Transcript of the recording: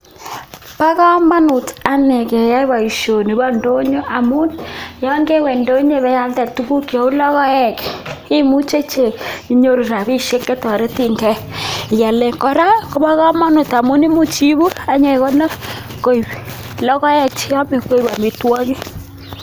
Bokomonut anee keyai boishoni boo indonyo amun yoon kewee indonyo ibealde tukuk cheuu lokoek imuche inyoru rabishek chetoreteng'e ialen, kora kobokomonut amun imuch iibu ak inyekonor koik lokoek cheome koik amitwokik.